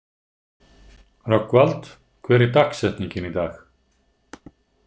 Rögnvald, hver er dagsetningin í dag?